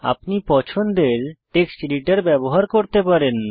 আপনি পছন্দের text editor ব্যবহার করতে পারেন